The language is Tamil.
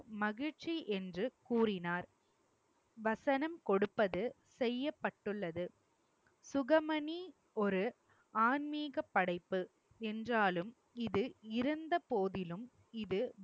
மகிழ்ச்சி என்று கூறினார். வசனம் கொடுப்பது செய்யப்பட்டுள்ளது சுகமணி ஒரு ஆன்மீக படைப்பு என்றாலும் இது இருந்த போதிலும் இது